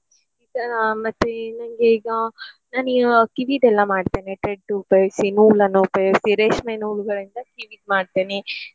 ಈಗ ಮತ್ತೆ ನನ್ಗೆ ಈಗ ನಾನ್ ಈ ಆ ಕಿವಿದೆಲ್ಲಾ ಮಾಡ್ತೇನೆ thread ಉಪಯೋಗಿಸಿ, ನೂಲನ್ನು ಉಪಯೋಗಿಸಿ ರೇಷ್ಮೆ ನೂಲುಗಳಿಂದ ಕಿವಿದ್ದು ಮಾಡ್ತೇನೆ.